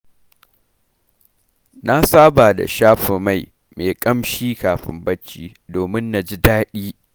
Na saba da shafa mai me ƙamshi kafin barci, domin na ji daɗi.